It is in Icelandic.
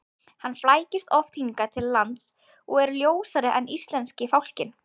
Hann flækist oft hingað til lands og er ljósari en íslenski fálkinn.